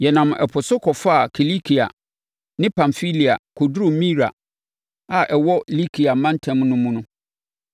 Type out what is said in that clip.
Yɛnam ɛpo so kɔfaa Kilikia ne Pamfilia kɔduruu Mira a ɛwɔ Likia mantam mu no mu.